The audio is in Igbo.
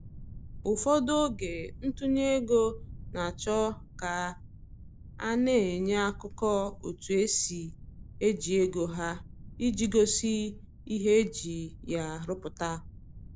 Ụfọdụ oge ntụnye ego na-achọ ka a na-enye akụkọ otu esi eji ego ha, iji gosi ihe eji ya rụpụta